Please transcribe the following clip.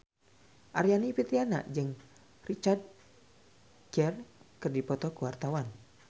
Aryani Fitriana jeung Richard Gere keur dipoto ku wartawan